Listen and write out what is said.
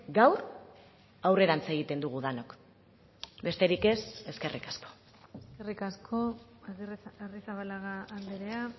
gaur aurrerantz egiten dugu denok besterik ez eskerrik asko eskerrik asko arrizabalaga andrea